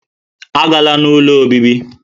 Agala n'ụlọ obibi!